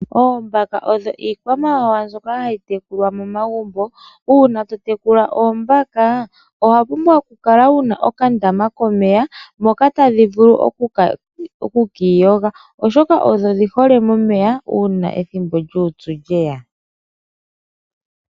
Oombaka odho iikwamawawa mbyoka hayi tekulwa momagumbo. Uuna to tekula oombaka owa pumbwa okukala wu na okandama komeya moka tadhi vulu oku ka iyoga, oshoka odhi hole momeya uuna ethimbo lyuupyu lye ya.